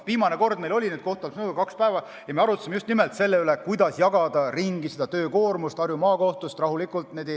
Viimane kord toimus kohtute haldamise nõukoda kaks päeva ja me arutasime selle üle, kuidas Harju Maakohtu töökoormust ümber jagada rahulikult.